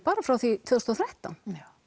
bara frá því tvö þúsund og þrettán